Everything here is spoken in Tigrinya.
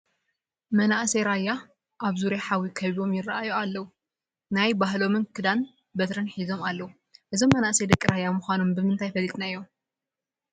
መናእሰይ ራያ ኣብ ዙርያ ሓዊ ከቢቦም ይርአዩ ኣለዉ፡፡ ናይ ባህሎም ክዳንን በትርን ሒዞም ኣለዉ፡፡ እዞም መናእሰይ ደቂ ራያ ምዃኖም ብምንታይ ፈሊጥናዮም?